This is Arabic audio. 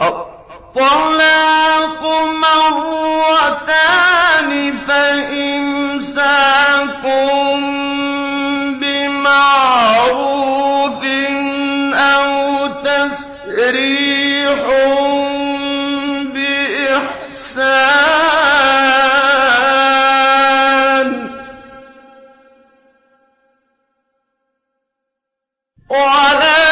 الطَّلَاقُ مَرَّتَانِ ۖ فَإِمْسَاكٌ بِمَعْرُوفٍ أَوْ تَسْرِيحٌ بِإِحْسَانٍ ۗ وَلَا